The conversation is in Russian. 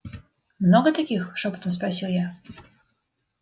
много таких шёпотом спросил я